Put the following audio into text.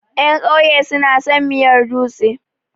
Ƴan ƙauye su na son miyar dutse.